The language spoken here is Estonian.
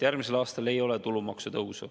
Järgmisel aastal ei ole tulumaksu tõusu.